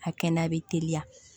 A kɛnɛya bɛ teliya